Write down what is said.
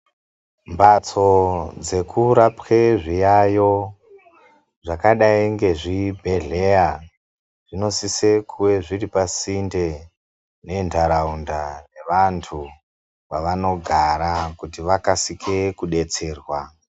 Mbatso dzekurapwe zviyayo zvakadai ngezvibhehleya zvinosise kuve zviri pasinde nendaraunda nevantu kwavanogara kuti vakasike kubetserwa.